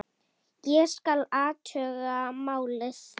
Ég skal athuga málið